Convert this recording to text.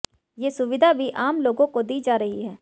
ये सुविधा भी आम लोगों को दी जा रही है